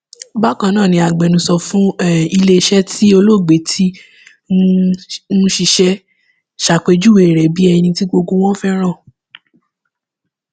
bákan náà ni agbẹnusọ fún um iléeṣẹ tí olóògbé ti um ń ṣiṣẹ ṣàpèjúwe rẹ bíi ẹni tí gbogbo wọn fẹràn